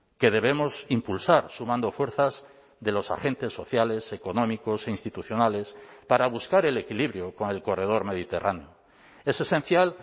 que debemos impulsar sumando fuerzas de los agentes sociales económicos e institucionales para buscar el equilibrio con el corredor mediterráneo es esencial